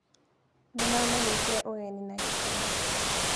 Nĩ maamanyitire ũgeni na gĩkeno